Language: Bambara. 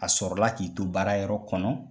A sɔrɔ la k'i to baara yɔrɔ kɔnɔ,